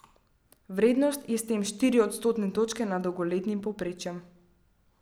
Vrednost je s tem štiri odstotne točke nad dolgoletnim povprečjem.